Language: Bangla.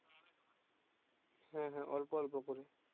হ্যাঁ হ্যাঁ অল্প অল্প করে